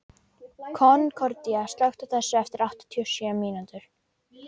Konkordía, slökktu á þessu eftir áttatíu og sjö mínútur.